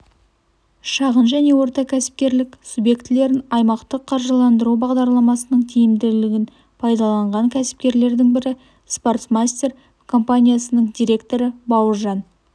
шағын және орта кәсіпкерлік субъектілерін аймақтық қаржыландыру бағдарламасының тиімділігін пайдаланған кәсіпкерлердің бірі спортмастер компаниясының директоры бауыржан